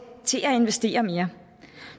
til at investere mere